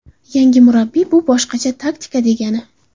Yangi murabbiy, bu boshqacha taktika degani”.